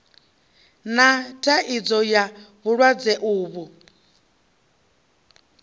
na thaidzo ya vhulwadze uvhu